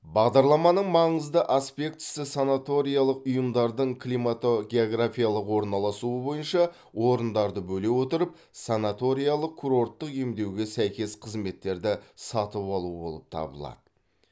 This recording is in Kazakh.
бағдарламаның маңызды аспектісі санаториялық ұйымдардың климатогеографиялық орналасуы бойынша орындарды бөле отырып санаториялық курорттық емдеуге сәйкес қызметтерді сатып алу болып табылады